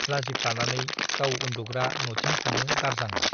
लाजिफ्लानानै गाव उन्दुग्रा नथिं थाङो दारजांआ ।